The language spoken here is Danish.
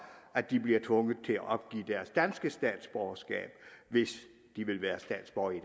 at de bliver tvunget til at opgive deres danske statsborgerskab hvis de vil være statsborgere i